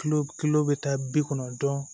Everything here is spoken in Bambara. kilo bi taa bi kɔnɔntɔn